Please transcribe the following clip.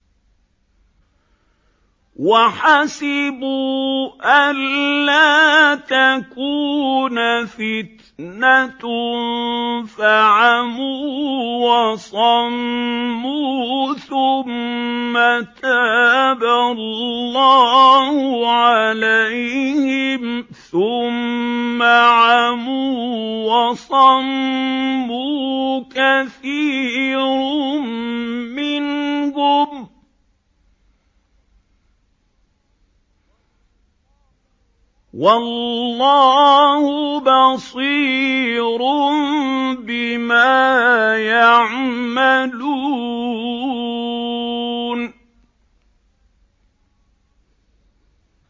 وَحَسِبُوا أَلَّا تَكُونَ فِتْنَةٌ فَعَمُوا وَصَمُّوا ثُمَّ تَابَ اللَّهُ عَلَيْهِمْ ثُمَّ عَمُوا وَصَمُّوا كَثِيرٌ مِّنْهُمْ ۚ وَاللَّهُ بَصِيرٌ بِمَا يَعْمَلُونَ